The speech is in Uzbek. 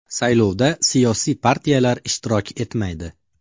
Saylovda siyosiy partiyalar ishtirok etmaydi.